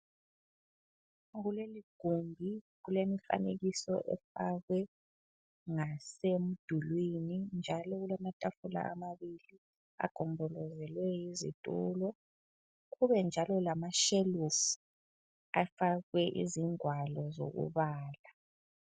Kuleli gumbi kulemfanekiso efakwe ngasemdulwini njalo kulama tafula amabili agombolozelwe yizitulo. Kube njalo lama shelusi afakwe izingwalo zokubala.